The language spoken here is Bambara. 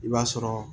I b'a sɔrɔ